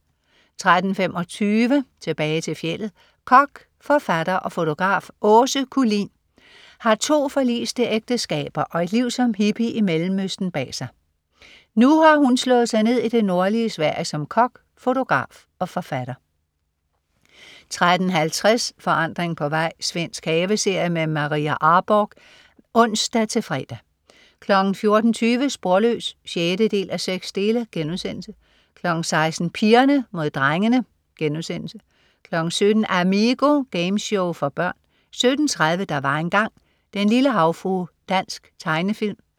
13.25 Tilbage til fjeldet. Kok, forfatter og fotograf Åse Kullin har to forliste ægteskaber og et liv som hippie i mellemøsten bag sig. Nu har hun slået sig ned i det nordlige Sverige som kok, fotograf og forfatter 13.50 Forandring på vej. Svensk haveserie. Maria Arborgh (ons-fre) 14.20 Sporløs 6:6* 16.00 Pigerne Mod Drengene* 17.00 Amigo. Gameshow for børn 17.30 Der var engang ... Den lille havfrue. Dansk tegnefilm